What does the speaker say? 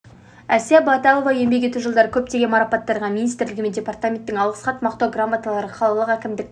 әсия баталова еңбек ету жылдары көптеген марапаттарға министрлігі мен департаменттің алғыс хат мақтау грамоталары қалалық әкімдік